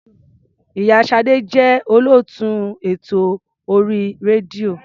Ì̀yá Ṣadé jẹ́ olóòtú ètò orí rédíò.